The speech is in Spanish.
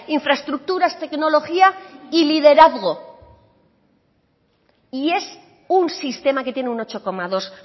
infraestructuras tecnología y liderazgo y es un sistema que tiene un ocho coma dos